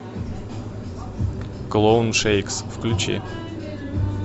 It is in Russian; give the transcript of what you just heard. клоун шейкс включи